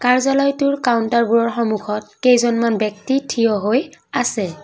কাৰ্যালয়টোৰ কাউণ্টাৰবোৰৰ সন্মুখত কেইজনমান ব্যক্তি থিয় হৈ আছে।